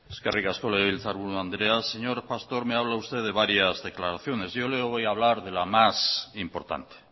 eskerrik asko legebiltzar buru andrea señor pastor me habla usted de varias declaraciones yo le voy a hablar de la más importante